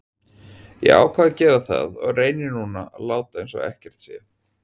Ég ákvað að gera það og reyni núna að láta eins og ekkert sé.